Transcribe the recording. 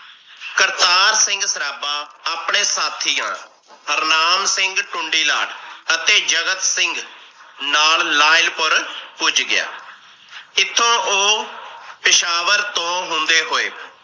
ਕਰਤਾਰ ਸਿੰਘ ਸਰਾਬਾ ਆਪਣੇ ਸਾਥੀਆਂ ਹਰਨਾਮ ਸਿੰਘ ਟੁੰਡੀਲਾ ਅਤੇ ਜਗਤ ਸਿੰਘ ਨਾਲ ਲਾਇਲ ਪੁਰ ਪੁੱਜ ਗਿਆ। ਇਥੋਂ ਉਹ ਪੇਸ਼ਾਵਾਰ ਤੋਂ ਹੁੰਦੇ ਹੋਏ ।